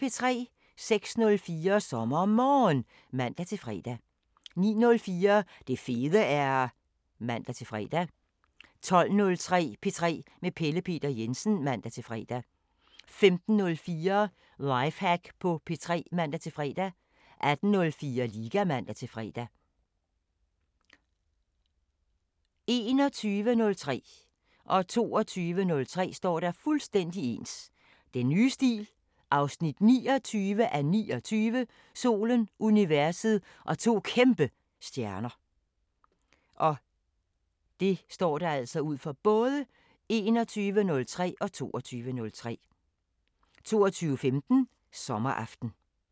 06:04: SommerMorgen (man-fre) 09:04: Det fede er... (man-fre) 12:03: P3 med Pelle Peter Jensen (man-fre) 15:04: Lifehack på P3 (man-fre) 18:04: Liga (man-fre) 21:03: Den nye stil 29:29 – Solen, universet og to kæmpe stjerner 22:03: Den nye stil 29:29 – Solen, universet og to kæmpe stjerner 22:15: Sommeraften